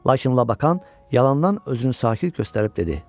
Lakin Labakan yalandan özünü sakit göstərib dedi: